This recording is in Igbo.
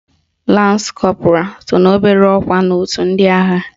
Lans Kọpụral so n'obere ọkwa n'otu ndị agha